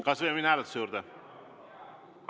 Kas võime minna hääletuse juurde?